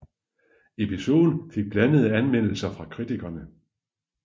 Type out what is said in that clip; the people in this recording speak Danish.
Episoden fik blandede anmeldelser fra kritikerne